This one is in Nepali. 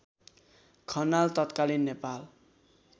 खनाल तत्कालिन नेपाल